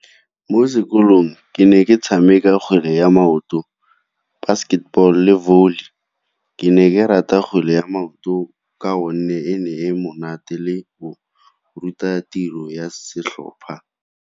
Mo sekolong ke ne ke tshameka kgwele ya maoto, basketball, le volley. Ke ne ke rata kgwele ya maoto ka gonne e ne e monate le go ruta tiro ya setlhopha.